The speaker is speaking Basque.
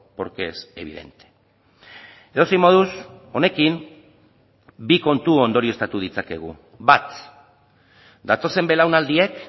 porque es evidente edozein moduz honekin bi kontu ondorioztatu ditzakegu bat datozen belaunaldiek